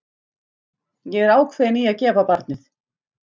Ég er ákveðin í að gefa barnið.